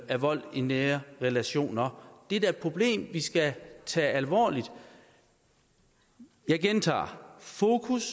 af vold i nære relationer det er da et problem vi skal tage alvorligt jeg gentager fokus